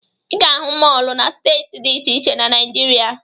Ị ga-ahụ mọọlụ na steeti dị iche iche na Naịjirịa.